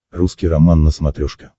русский роман на смотрешке